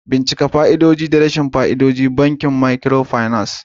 Bincika fa'idodi da rashin amfanin bankunan microfinance.